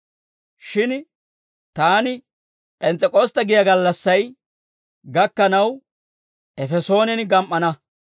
Shin taani P'ens's'ek'ostte giyaa gallassay gakkanaw Efesoonen gam"ana.